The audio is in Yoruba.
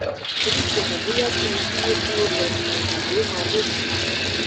emi ko mo boya ki n duro ki o lo tabi o ma le si